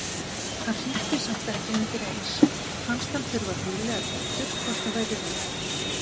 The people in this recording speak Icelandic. Hann hringdi samt ekki undireins, fannst hann þurfa að hugleiða betur hvort það væri rétt.